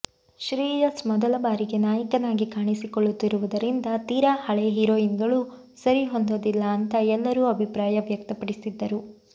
ಶ್ರೇಯಸ್ ಮೊದಲ ಬಾರಿಗೆ ನಾಯಕನಾಗಿ ಕಾಣಿಸಿಕೊಳ್ಳುತ್ತಿರುವುದರಿಂದ ತೀರಾ ಹಳೇ ಹೀರೋಯಿನ್ಗಳು ಸರಿಹೊಂದೋದಿಲ್ಲ ಅಂತಾ ಎಲ್ಲರೂ ಅಭಿಪ್ರಾಯ ವ್ಯಕ್ತಪಡಿಸಿದ್ದರು